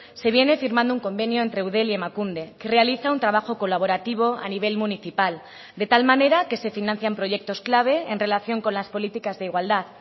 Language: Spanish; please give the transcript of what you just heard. se viene firmando un convenio entre eudel y emakunde que realiza un trabajo colaborativo a nivel municipal de tal manera que se financian proyectos clave en relación con las políticas de igualdad